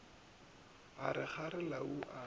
a re kgare lau a